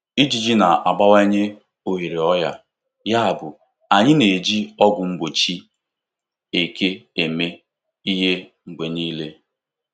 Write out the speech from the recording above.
Ijiji na-abawanye ohere ọrịa, yabụ anyị na-eji ọgwụ mgbochi eke eme ihe mgbe niile.